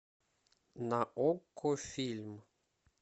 на окко фильм